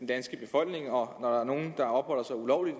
danske befolkning og når der er nogen der opholder sig ulovligt